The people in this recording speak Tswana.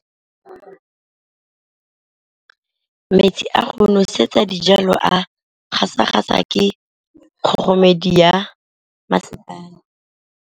Metsi a go nosetsa dijalo a gasa gasa ke kgogomedi ya masepala.